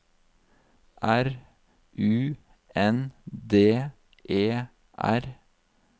R U N D E R